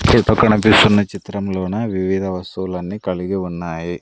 ఈ పక్క కనిపిస్తున్న చిత్రంలోన వివిధ వస్తువులన్నీ కలిగి ఉన్నాయి.